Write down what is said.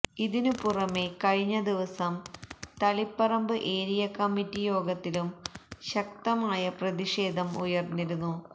ഇതിനു പുറമെ കഴിഞ്ഞ ദിവസം തളിപ്പറമ്പ് ഏരിയാ കമ്മിറ്റി യോഗത്തിലും ശക്തമായ പ്രതിഷേധം ഉയര്ന്നിരുന്നു